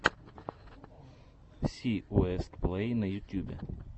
си уэст плэй на ютубе